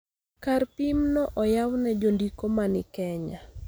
Kar pim no oyaw ne jondiko ma ni Kenya,